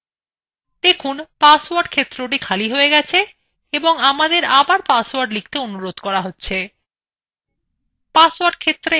দেখুন পাসওয়ার্ড ক্ষেত্রটি খালি হয়ে গেছে এবং আমাদের আবার পাসওয়ার্ড লিখতে অনুরোধ করা হচ্ছে